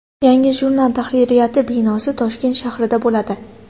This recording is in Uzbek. Yangi jurnal tahririyati binosi Toshkent shahrida bo‘ladi.